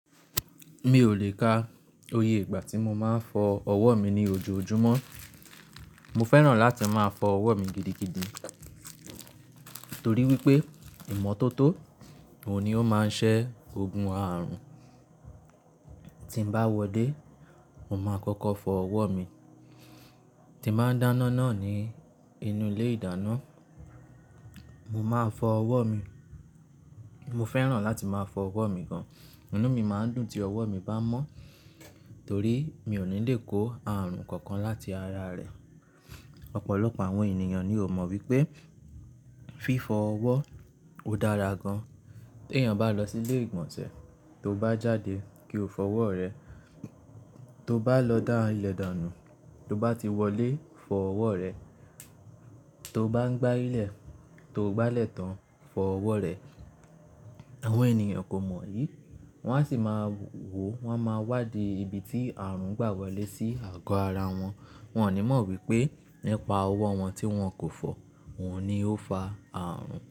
Mi ò lè ka oye ìgbà tí mo máa ń fọ ọwọ́ mi ní ojoojúmọ́. Mo fẹ́ràn láti máa fọ ọwọ́ mi gidigidi torí wípé ìmọ́tótó òní ó máa ń ṣẹ́ ogun àrùn. Tí n bá wọlé, mo máa kọ́kọ́ fọ ọwọ́ mi. Tí máa ń dáná náà ní inú ilé ìdáná, mo máa fọ ọwọ́ mi. Mo fẹ́ràn láti máa fọ ọwọ́ mi gan-an, ínú mi máa ń dùn tí ọwọ́ mi bá mọ́ torí mi ò ní lè kó àrùn kankan láti ara rẹ̀. Ọ̀pọ̀lọpọ̀ àwọn ènìyàn ni ò mọ wípé fífọ ọwọ́ ò dára gan-an. Tí èèyàn bá lọ sí ilé ìgbọ̀nsẹ̀ tó bá jáde kí ó fọ ọwọ́ rẹ̀, tó bá lọ dá ilẹ̀ dànù tó bá ti wọlé fọ ọwọ́ rẹ̀, tó bá ń gbá ilẹ̀ tó gbá lẹ̀tán fọ ọwọ́ rẹ. Àwọn ènìyàn kò mọ èyí, wón á sì máa wò, wón máa wádìí ibi tí àrùn gbà wọlé sí àgọ́ ara wọn. Wọn ò ní mọ wípé nípa ọwọ́ wọn tí wọn kò fọ, óhun ni ó fa àrùn.